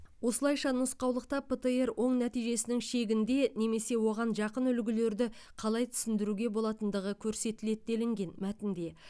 осылайша нұсқаулықта птр оң нәтижесінің шегінде немесе оған жақын үлгілерді қалай түсіндіруге болатындығы көрсетіледі делінген мәтінде